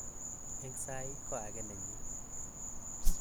Eng sai, ko ake nenyin.